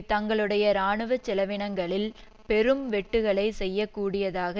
தங்களுடைய இராணுவ செலவினங்களில் பெரும் வெட்டுக்களை செய்ய கூடியதாக